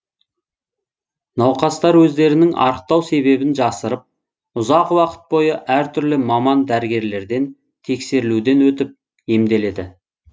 науқастар өздерінің арықтау себебін жасырып ұзақ уақыт бойы әртүрлі маман дәрігерлерден тексерілуден өтіп емделеді